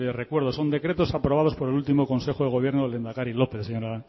recuerdo son decretos aprobados por el último consejo de gobierno del lehendari lópez señora